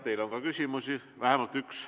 Teile on ka küsimusi, vähemalt üks.